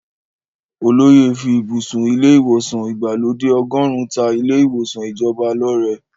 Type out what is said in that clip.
Olóyè fí ibùsùn ilé ìwòsàn ìgbàlódé ọgọ́run ta ilé ìwòsàn ìjọba lọ́rẹ.